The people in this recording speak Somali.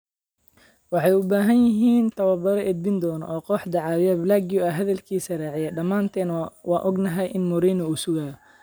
“Waxay u baahan yihiin tababare edbin doona oo kooxda caawiya. Blague ayaa hadalkiisa raaciyay: “Dhamaanteen waan ognahay in Mourinho uu sugayo”.